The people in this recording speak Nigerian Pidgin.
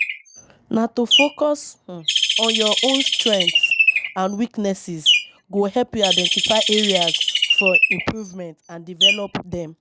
Na to focus um on your own strengths and weaknesses go help you identify areas for improvement and develop dem.